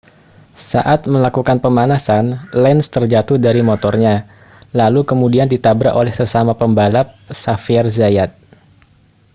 saat melakukan pemanasan lenz terjatuh dari motornya lalu kemudian ditabrak oleh sesama pebalap xavier zayat